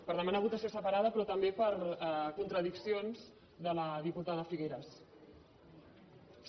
per demanar votació separada però també per contradiccions de la diputada figueras